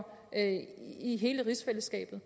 i hele rigsfællesskabet